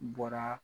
Bɔra